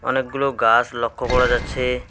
অনেকগুলো গাস লক্ষ করা যাচ্ছে।